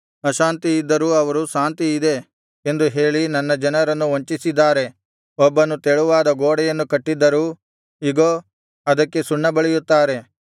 ಅಶಾಂತಿಯಿದ್ದರೂ ಅವರು ಶಾಂತಿಯಿದೆ ಎಂದು ಹೇಳಿ ನನ್ನ ಜನರನ್ನು ವಂಚಿಸಿದ್ದಾರೆ ಒಬ್ಬನು ತೆಳುವಾದ ಗೋಡೆಯನ್ನು ಕಟ್ಟಿದ್ದರೂ ಇಗೋ ಅದಕ್ಕೆ ಸುಣ್ಣಬಳಿಯುತ್ತಾರೆ